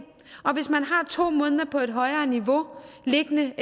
hvis man har to måneder på et højere niveau liggende